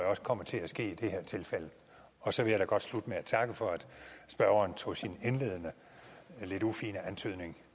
også kommer til at ske i det her tilfælde og så vil jeg da godt slutte med at takke for at spørgeren tog sin indledende lidt ufine antydning